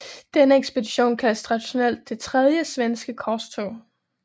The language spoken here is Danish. Denne ekspedition kaldes traditionelt det Tredje svenske korstog